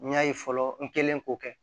N y'a ye fɔlɔ n kɛlen k'o kɛ